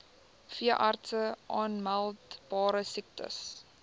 veeartse aanmeldbare siektes